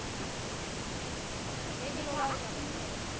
Já, mikil ósköp.